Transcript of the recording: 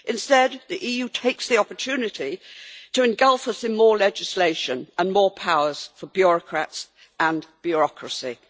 Instead, the EU takes the opportunity to engulf us in more legislation and more powers for bureaucrats and bureaucracy.